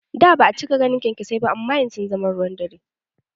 Da ba'a cika ganin kyankyasai ba amma yanzu sun zama ruwan dare